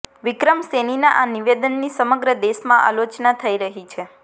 વિક્રમ સૈનીના આ નિવેદનની સમગ્ર દેશમાં આલોચના થઈ રહી છે